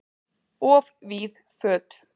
Of víð föt